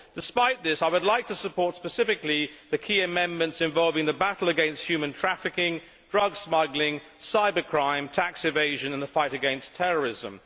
Despite this, I would like to support specifically the key amendments involving the battle against human trafficking, drug smuggling, cybercrime, tax evasion and the fight against terrorism.